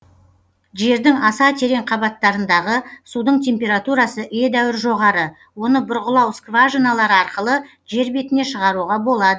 жердің аса терең қабаттарындағы судың температурасы едәуір жоғары оны бұрғылау скважиналары арқылы жер бетіне шығаруға болад